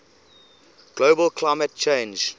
global climate change